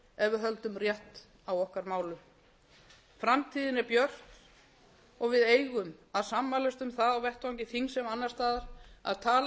höldum rétt á okkar málum framtíðin er björt og við eigum að sammælast um það á vettvangi þings sem annars staðar að tala